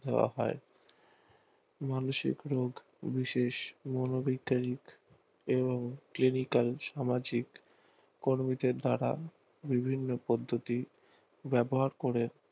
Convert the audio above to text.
দাওয়া হয় মানসিক রোগ বিশেষ মনোবৈজ্ঞানিক এবং ক্লিনিকাল সামাজিক কর্মতে দ্বারা বিভিন্ন পদ্ধতি ব্যবহার করে